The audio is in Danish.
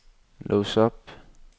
lås op